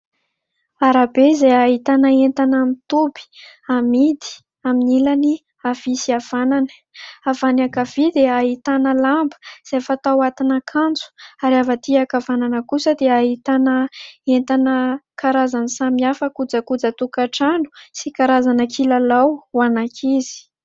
Aram-be izay ahitana entana amin'y toby amidy amin'ilany avia sy avanana, avy any ankavia dia ahitana lamba izay fatao atiny akanjo ary avy aty ankavanana kosa dia ahitana entana karazany samihafa kojakoja tokatrano sy karazana kilalao ho any ankizy.